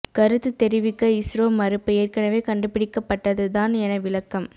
கருத்து தெரிவிக்க இஸ்ரோ மறுப்பு ஏற்கெனவே கண்டுபிடிக்கப்பட்டது தான் என விளக்கம்